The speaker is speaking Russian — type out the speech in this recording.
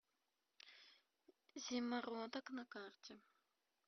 зимородок на карте